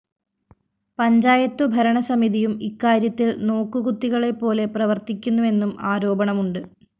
പഞ്ചായത്തുഭരണസമിതിയും ഇക്കാര്യത്തില്‍ നോക്കുകൂത്തികളെപ്പോലെ പ്രവര്‍ത്തിക്കുന്നുവെന്നും ആരോപണമുണ്ട്